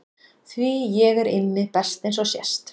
Því ég er Immi best eins og sést.